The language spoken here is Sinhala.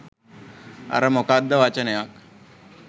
අර මොකක්ද වචනයක්